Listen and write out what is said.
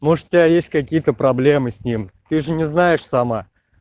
может у тебя есть какие-то проблемы с ним ты же не знаешь сама